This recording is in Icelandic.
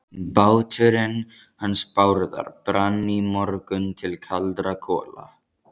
Báturinn hans Bárðar brann í morgun til kaldra kola.